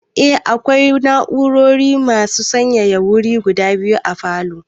Eh, akwai na'urar mai sanyaya wuri guda biyu a falow